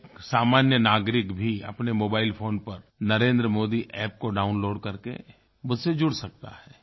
एक सामान्य नागरिक भी अपने मोबाइल फ़ोन पर नरेंद्र मोदी अप्प को डाउनलोड करके मुझसे जुड़ सकता है